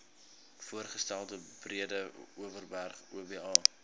voorgestelde breedeoverberg oba